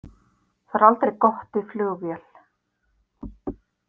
Það er aldrei gott í flugvél.